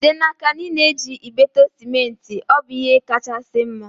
Jide n'aka na ị na-eji ibeto sementi, ọ bụ ihe kachasị mma